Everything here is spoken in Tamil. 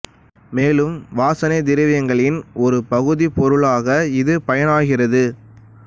மேலும் வாசனைத் திரவியங்களின் ஒரு பகுதிப் பொருளாக இது பயனாகிறது